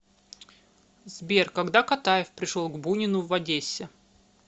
сбер когда катаев пришел к бунину в одессе